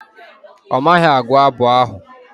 Ọ maghị agụ abụ ahụ.